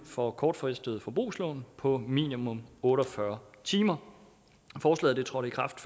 for kortfristede forbrugslån på minimum otte og fyrre timer forslaget trådte i kraft